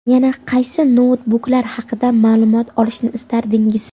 Yana qaysi noutbuklar haqida ma’lumot olishni istardingiz?